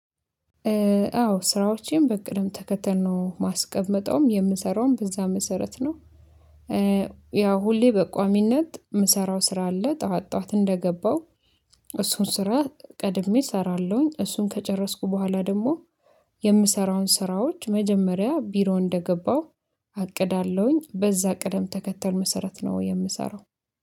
አዎ ስራዎቼን በቅድም ተከተል ነው ማስቀምጠውም የምሰራውም በዛ መሰረት ነው። ያው ሁሌ በቋሚነት የምሰራው ስራ አለ ጠዋት ጠዋት እንደገባው እሱን ስራ ቀድሜ እሰራለሁኝ። እሱን ከጨረስኩ በኋላ ደግሞ የምሰራውን ስራዎች መጀመሪያ ቢሮ እንደገባሁ አቅዳለሁኝ። በዛ ቅደም ተከተል መሰረት ነው የምሰራው